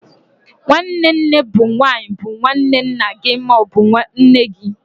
Nwanne nne bụ nwanyi bu nwanne nna gị ma ọ bụ nne gị.